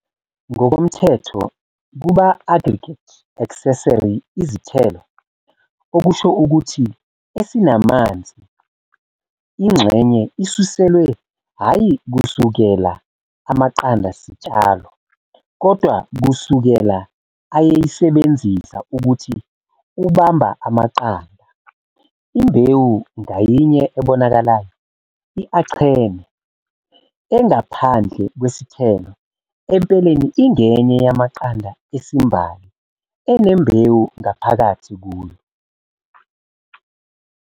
Ngokomthetho, kuba aggregate - accessory izithelo, okusho ukuthi esinamanzi ingxenye isuselwe hhayi kusukela amaqanda sitshalo kodwa kusukela ayesisebenzisa ukuthi ubamba amaqanda. "Imbewu" ngayinye ebonakalayo, i-achene, engaphandle kwesithelo empeleni ingenye yamaqanda esimbali, enembewu ngaphakathi kuyo.